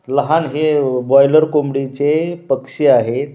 लहान हे बॉयलर कोंबडीचे पक्षी आहेत.